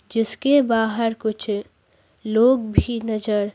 जिसके बाहर कुछ लोग भी नजर--